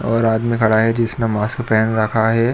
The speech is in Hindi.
और आदमी खड़ा है जिसने मास्क पहन रखा है।